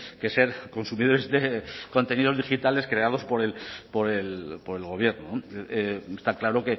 que ser consumidores de contenidos digitales creados por el gobierno está claro